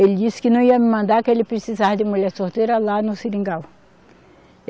Ele disse que não ia me mandar, que ele precisava de mulher solteira lá no Seringal.